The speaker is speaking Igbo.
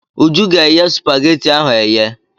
Uju ga-eye spageti ahụ eye.